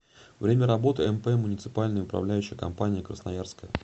время работы мп муниципальная управляющая компания красноярская